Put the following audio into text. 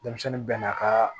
Denmisɛnnin bɛɛ n'a ka